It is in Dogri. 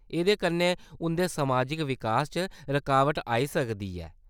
एह्‌‌‌दे कन्नै उंʼदे समाजिक विकास च रकाबट आई सकदी ऐ।